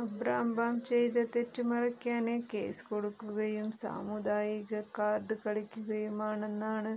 അബ്രാംബാം ചെയ്ത തെറ്റ് മറയ്ക്കാന് കേസ് കൊടുക്കുകയും സമൂദായിക കാര്ഡ് കളിക്കുകയുമാണെന്നാണ്